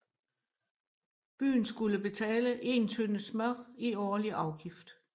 Byen skulle betale 1 tønde smør i årlig afgift